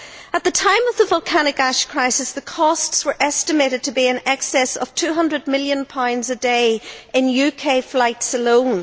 At the time of the volcanic ash crisis, the costs were estimated to be in excess of GBP 200 million a day in UK flights alone.